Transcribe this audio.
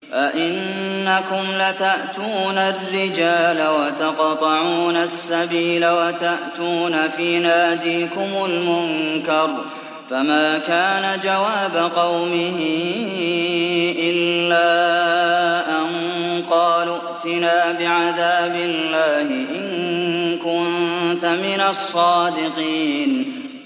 أَئِنَّكُمْ لَتَأْتُونَ الرِّجَالَ وَتَقْطَعُونَ السَّبِيلَ وَتَأْتُونَ فِي نَادِيكُمُ الْمُنكَرَ ۖ فَمَا كَانَ جَوَابَ قَوْمِهِ إِلَّا أَن قَالُوا ائْتِنَا بِعَذَابِ اللَّهِ إِن كُنتَ مِنَ الصَّادِقِينَ